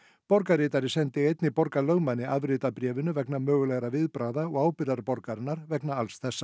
borgarritari sendi einnig borgarlögmanni afrit af bréfinu vegna mögulegra viðbragða og ábyrgðar borgarinnar vegna alls þessa